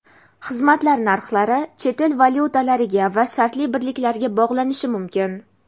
xizmatlar) narxlari chet el valyutalariga va shartli birliklarga bog‘lanishi mumkin.